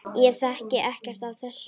Ég þekki ekkert af þessu.